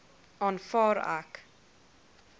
aanvaar ek